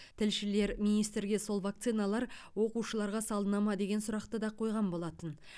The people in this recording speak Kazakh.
тілшілер министрге сол вакциналар оқушыларға салына ма деген сұрақты да қойған болатын